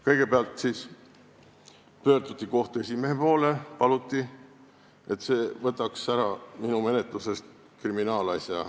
Kõigepealt pöörduti kohtu esimehe poole ja paluti, et see võtaks kriminaalasja minu menetlusest ära.